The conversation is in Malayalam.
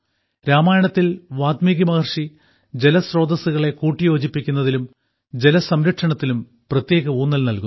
രാമായണത്തിൽ വാല്മീകി മഹർഷി ജലസ്രോതസ്സുകളെ കൂട്ടിയോജിപ്പിക്കുന്നതിലും ജലസംരക്ഷണത്തിലും പ്രത്യേക ഊന്നൽ നൽകുന്നു